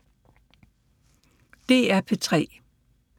DR P3